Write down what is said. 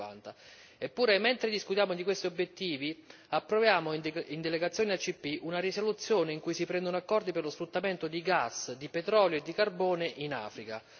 2050. Eppure, mentre discutiamo di questi obiettivi, approviamo in delegazione ACP una risoluzione in cui si prendono accordi per lo sfruttamento di gas, di petrolio e di carbone in Africa.